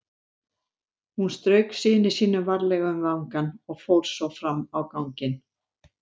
Hún strauk syni sínum varlega um vangann og fór svo fram á ganginn.